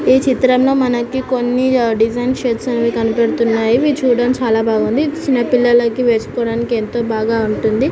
ఈ చిత్రంలో మనకి కొన్ని డిజైన్ షేప్స్ అనేవి కన్పడుతున్నాయ్ ఇవి చూడడం చాల బాగుంది ఇది చిన్న పిల్లలకు వేసుకోవడానికి ఎంతో బాగా ఉంటుంది.